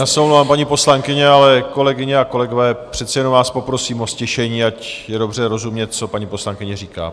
Já se omlouvám, paní poslankyně, ale kolegyně a kolegové, přece jenom vás poprosím o ztišení, ať je dobře rozumět, co paní poslankyně říká.